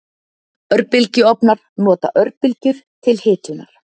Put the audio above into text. Örbylgjuofnar nota örbylgjur til hitunar.